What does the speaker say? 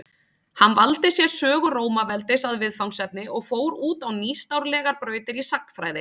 Hann valdi sér sögu Rómaveldis að viðfangsefni og fór út á nýstárlegar brautir í sagnfræði.